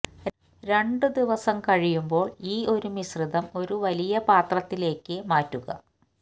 രണ്ടു ദിവസം കഴിയുമ്പോൾ ഈ ഒരു മിശ്രിതം ഒരു വലിയ പാത്രത്തിലേക്ക് മാറ്റുക